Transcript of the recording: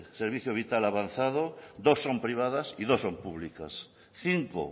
servicio vital avanzado dos son privadas y dos son públicas cinco